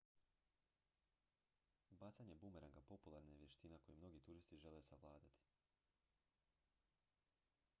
bacanje bumeranga popularna je vještina koju mnogi turisti žele savladati